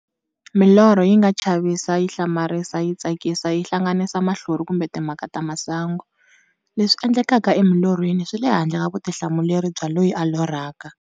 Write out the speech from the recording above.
Milorho yinga chavisa, yihlamarisa, yitsakisa, yihlanganisa mahlori kumbe timhaka ta masangu. Leswi endlekaka emilorhweni swile handle ka vutihlamuleri bya loyi a lorhaka.